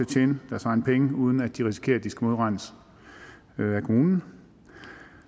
tjene deres egne penge uden at de risikerer at de skal modregnes af kommunen